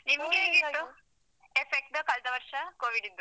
ನಿಮ್ಗೆ ಹೇಗಿತ್ತು? effect ಕಳ್ದ ವರ್ಷ covid ದ್ದು?